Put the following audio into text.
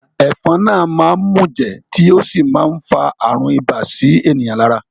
Ẹ̀fọn náà máá ń mùjẹ̀ tí ó sì má ń fa àrùn ibà sí ènìyàn lára